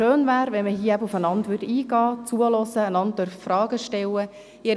Es wäre schön, wenn man hier aufeinander einginge, einander zuhörte und einander Fragen stellen dürfte.